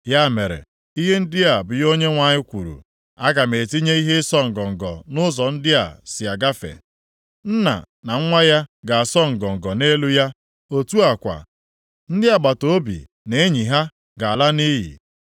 Ya mere, ihe ndị a bụ ihe Onyenwe anyị kwuru, “Aga m etinye ihe ịsọ ngọngọ nʼụzọ ndị a si agafe. Nna na nwa ya ga-asọ ngọngọ nʼelu ya; otu a kwa, ndị agbataobi na enyi ha ga-ala nʼiyi.”